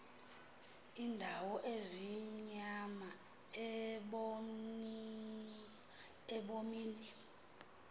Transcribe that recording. iindawo ezimnyama ebomini